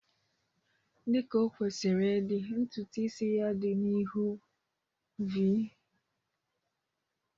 Dị ka o kwesịrị ịdị, ntutu isi ya dị n'ihu-v